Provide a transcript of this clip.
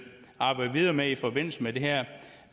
arbejde videre med i forbindelse med det her